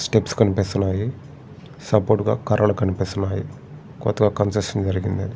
Steps కనిపిస్తన్నాయి. Support గా కర్రలు కనిపిస్తున్నాయి. కొత్తగా కంస్ట్రక్షన్ స్టెప్స్ కనిపిస్తన్నాయి.